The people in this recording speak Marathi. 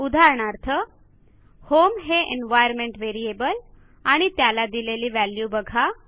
उदाहरणार्थ होम हे एन्व्हायर्नमेंट व्हेरिएबल आणि त्याला दिलेली व्हॅल्यू बघा